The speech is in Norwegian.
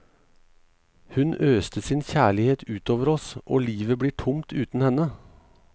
Hun øste sin kjærlighet utover oss, og livet blir tomt uten henne.